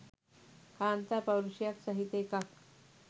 කාන්තා පෞරුෂයක් සහිත එකක්.